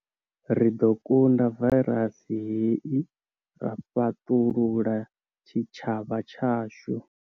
Ri ḓo kunda vairasi hei ra fhaṱulula tshitshavha tshashu.